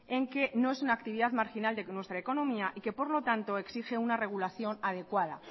en que no es una actividad marginal de nuestra economía y que por lo tanto exige una regulación adecuada